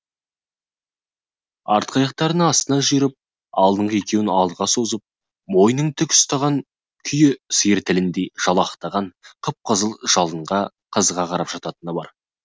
артқы аяқтарын астына жиырып алдыңғы екеуін алдыға созып мойнын тік ұстаған күйі сиыр тіліндей жалақтаған қып қызыл жалынға қызыға қарап жататыны бар